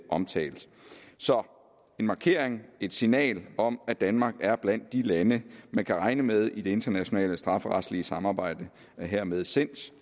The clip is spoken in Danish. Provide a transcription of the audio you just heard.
omtalt så en markering et signal om at danmark er blandt de lande man kan regne med i det internationale strafferetlige samarbejde er hermed sendt